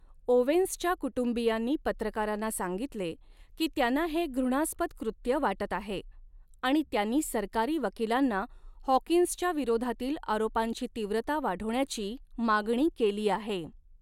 ओवेन्सच्या कुटुंबियांनी पत्रकारांना सांगितले की, त्यांना हे घृणास्पद कृत्य वाटत आहे आणि त्यानी सरकारी वकिलांना हॉकिन्सच्या विरोधातील आरोपांची तीव्रता वाढवण्याची मागणी केली आहे.